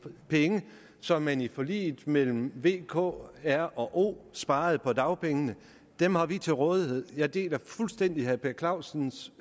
penge som man i forliget mellem v k r og o sparede på dagpengene dem har vi til rådighed jeg deler fuldstændig herre per clausens